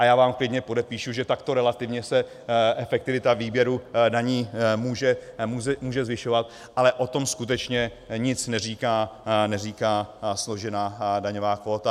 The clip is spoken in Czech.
A já vám klidně podepíšu, že takto relativně se efektivita výběru daní může zvyšovat, ale o tom skutečně nic neříká složená daňová kvóta.